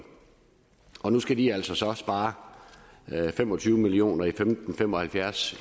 nu skal de altså så spare fem og tyve million og femten fem og halvfjerds